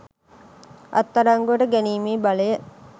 අත්අඩංගුවට ගැනීමේ බලය